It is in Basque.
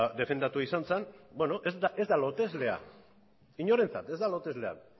defendatua izan zen ez da lotezlea inorentzat ez da lotezlea